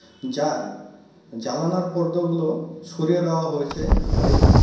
যার জালানার পর্দো গুলো সরিয়ে দেওয়া হয়েছে ঘরে.